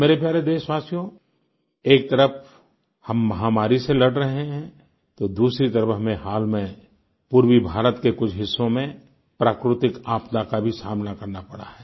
मेरे प्यारे देशवासियो एक तरफ़ हम महामारी से लड़ रहें हैं तो दूसरी तरफ़ हमें हाल में पूर्वी भारत के कुछ हिस्सों में प्राकृतिक आपदा का भी सामना करना पड़ा है